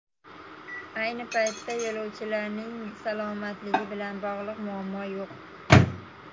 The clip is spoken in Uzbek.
Ayni paytda yo‘lovchilarning salomatligi bilan bog‘liq muammo yo‘q.